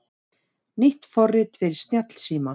Nýtt forrit fyrir snjallsíma